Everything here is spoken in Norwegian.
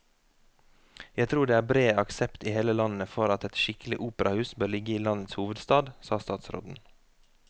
Jeg tror det er bred aksept i hele landet for at et skikkelig operahus bør ligge i landets hovedstad, sa statsråden.